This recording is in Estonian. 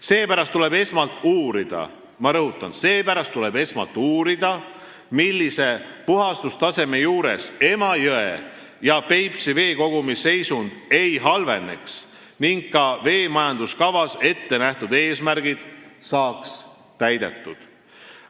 Seepärast tuleb esmalt uurida – ma rõhutan, tuleb esmalt uurida –, millise puhastustaseme puhul Emajõe ja Peipsi veekogumi seisund ei halveneks ning ka veemajanduskavas ettenähtud eesmärgid saaksid täidetud.